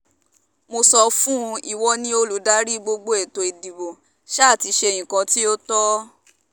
mo sọ fún un ìwọ ni olùdarí gbogbo ètò ìdìbò sá ti ṣe nǹkan tó tọ́